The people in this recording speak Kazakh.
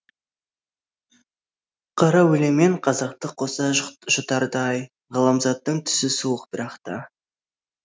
қара өлеңмен қазақты қоса жұтардай ғаламзаттың түсі суық бірақ та